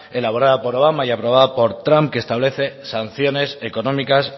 elaborada por obama y aprobada por trump que establece sanciones económicas